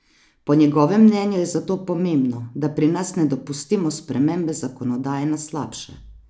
Po njegovem mnenju je zato pomembno, da pri nas ne dopustimo spremembe zakonodaje na slabše.